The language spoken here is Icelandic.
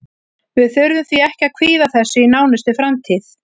Við þurfum því ekki að kvíða þessu í nánustu framtíð.